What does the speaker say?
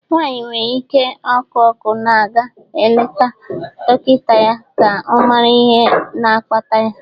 Nwanyị nwere ihe ọkụ ọkụ na-aga eleta dọkịta ya ka ọ mara ihe na-akpata ya